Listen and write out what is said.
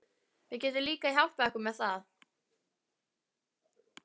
Við getum líka hjálpað ykkur með það